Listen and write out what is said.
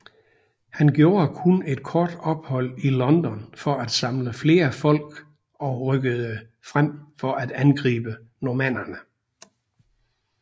Han gjorde kun et kort ophold i London for at samle flere folk og rykkede frem for at angribe normannerne